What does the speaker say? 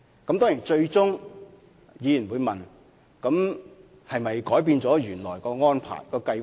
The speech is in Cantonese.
當然，議員最終會問：政府是否改變了原來的安排和計劃？